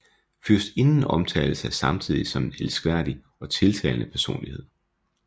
Fyrstinden omtales af samtidige som en elskværdig og tiltalende personlighed